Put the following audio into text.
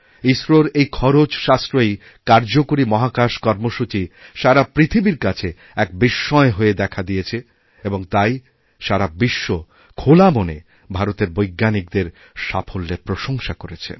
ইসরোরএই খরচ সাশ্রয়ী কার্যকরী মহাকাশ কর্মসূচি সারা পৃথিবীর কাছে এক বিস্ময় হয়ে দেখাদিয়েছে আর তাই সারা বিশ্ব খোলা মনে ভারতের বৈজ্ঞানিকদের সাফল্যের প্রশংসা করেছে